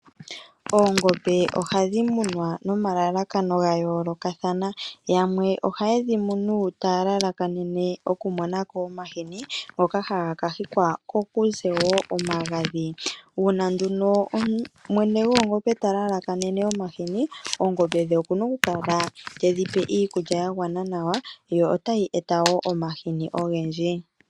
Oongombe ohadhi munwa nomalalakano gayoolokathana. Yamwe ohaye dhi munu taya lalakanene oku monamo omahini ngoka haga kahikwa ko kuze wo omagadhi. Uuna nduno mwene goongombe talalakanene omahini oongombe dhe okuna oku kala tedhi pe iilulya yagwana nawa, yo tayi eta wo omahini ogendji.